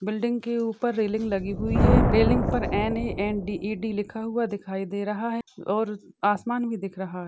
Building के उपर railing लगी हुई है रेलिंग पर N A N D E D लिखा हुआ दिखाई दे रहा है। और आसमान भी दिख रहा है।